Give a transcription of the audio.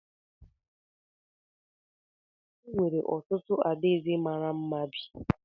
N’alaeze dị anya, e nwere otu adaeze mara mma bi.